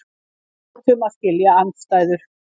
Við hljótum að skilja andstæður.